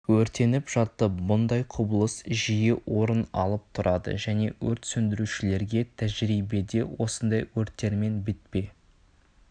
өртеніп жатты бұндай құбылыс жиі орын алып тұрады және өрт сөндірушілерге тәжірибеде осындай өрттермен бетпе